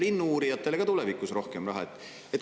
Siis jääks ka linnu-uurijatele tulevikus rohkem raha.